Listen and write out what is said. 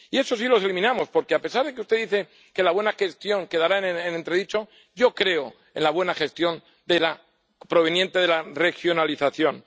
Y esos sí los eliminamos, porque, a pesar de que usted dice que la buena gestión quedará en entredicho, yo creo en la buena gestión proveniente de la regionalización.